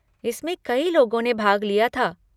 इसमें कई लोगों ने भाग लिया था।